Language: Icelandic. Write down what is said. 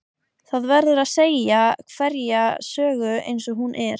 Það verður að segja hverja sögu eins og hún er.